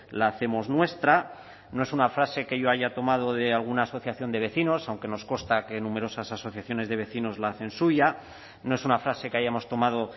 la hacemos nuestra no es una frase que yo haya tomado de alguna asociación de vecinos aunque nos consta que numerosas asociaciones de vecinos la hacen suya no es una frase que hayamos tomado